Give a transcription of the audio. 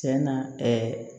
Tiɲɛna ɛɛ